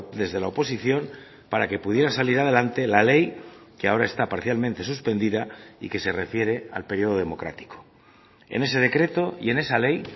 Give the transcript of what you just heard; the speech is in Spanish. desde la oposición para que pudiera salir adelante la ley que ahora está parcialmente suspendida y que se refiere al periodo democrático en ese decreto y en esa ley